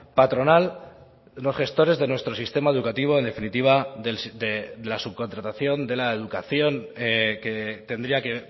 patronal los gestores de nuestro sistema educativo en definitiva de la subcontratación de la educación que tendría que